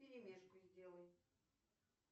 вперемешку сделай